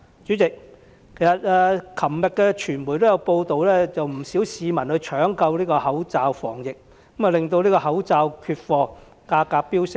主席，昨天傳媒報道不少市民搶購口罩防疫，令口罩缺貨，價格飆升。